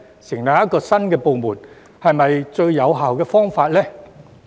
成立一個新部門是否最有效的方法呢？